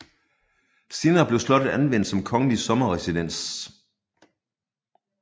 Senere blev slottet anvendt som kongelig sommerresidens